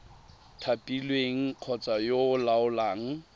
thapilweng kgotsa yo o laolang